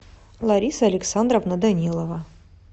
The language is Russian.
лариса александровна данилова